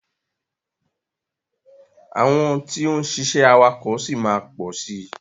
Àwọn tí ó ń ṣiṣẹ́ awakọ̀ ṣì máa pọ̀ sí.